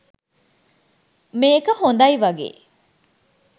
මේක හොඳයි වගේ.